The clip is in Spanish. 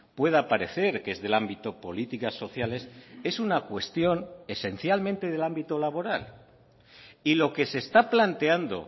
pueda parecer qué es del ámbito políticas sociales es una cuestión esencialmente del ámbito laboral y lo que se está planteando